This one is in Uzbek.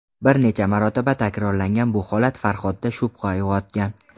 Bir necha marotaba takrorlangan bu holat Farhodda shubha uyg‘otgan.